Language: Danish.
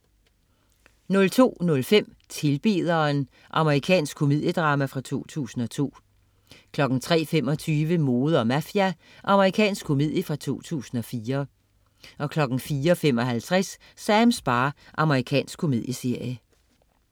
02.05 Tilbederen. Amerikansk komediedrama fra 2002 03.25 Mode og mafia. Amerikansk komedie fra 2004 04.55 Sams bar. Amerikansk komedieserie